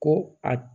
Ko a